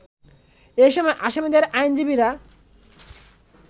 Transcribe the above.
এ সময় আসামিদের আইনজীবীরা